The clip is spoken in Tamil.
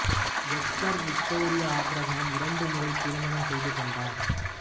எஸ்தர் விக்டோரியா ஆபிரகாம் இரண்டு முறை திருமணம் செய்து கொண்டார்